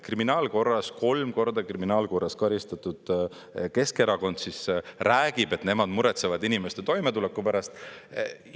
Kriminaalkorras, kolm korda kriminaalkorras karistatud Keskerakond räägib, et nemad muretsevad inimeste toimetuleku pärast.